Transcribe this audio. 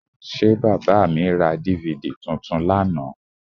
Ṣé bàbà mi ra DVD tuntun lánàá?